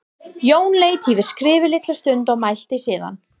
Jón leit yfir skrifið litla stund og mælti síðan